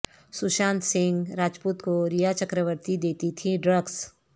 سشانت سنگھ راجپوت کو ریا چکرورتی دیتی تھیں ڈرگس